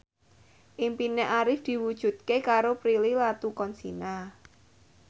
impine Arif diwujudke karo Prilly Latuconsina